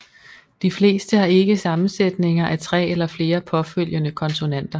De fleste har ikke sammensætninger af tre eller flere påfølgende konsonanter